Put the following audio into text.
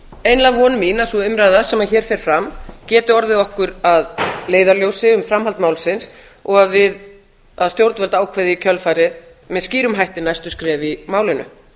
einlæg von mín að sú umræða sem hér fer fram geti orðið okkur að leiðarljósi um framhald málsins og að stjórn ákveði í kjölfarið með skýrum hætti næstu skref í málinu